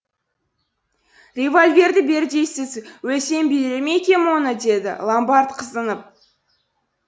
револьверді бер дейсіз өлсем берер ме екем оны деді ломбард қызынып